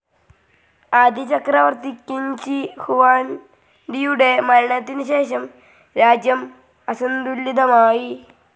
ആദ്യ ചക്രവർത്തി Qin Shi ഹുവാൻഡിയുടെ മരണത്തിനുശേഷം രാജ്യം അസന്തുലിതമായി.